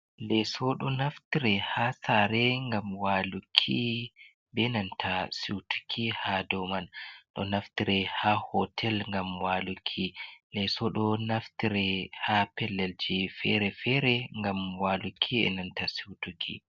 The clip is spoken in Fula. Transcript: Leso ɗo naftre ha sare ngam waluki, benanta siwtuki ha doman, ɗo naftire ha hotel ngam waluki, leso ɗo naftre ha pellelji fere-fere ngam waluki enanta siwtuki.